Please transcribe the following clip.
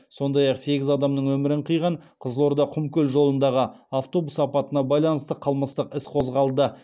сондай ақ сегіз адамның өмірін қиған қызылорда құмкөл жолындағы автобус апатына байланысты қылмыстық іс қозғалды